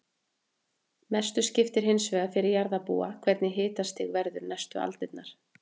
Mestu skiptir hins vegar fyrir jarðarbúa hvernig hitastig verður næstu aldirnar.